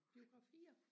biografier